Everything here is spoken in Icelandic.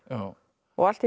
og allt í einu